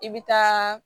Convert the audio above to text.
I bɛ taa